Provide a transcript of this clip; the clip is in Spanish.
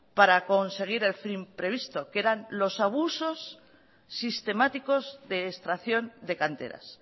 para conseguir el fin previsto que eran los abusos sistemáticos de extracción de canteras